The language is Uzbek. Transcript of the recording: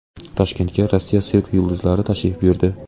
Toshkentga Rossiya sirk yulduzlari tashrif buyurdi.